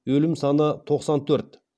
өлім саны тоқсан төрт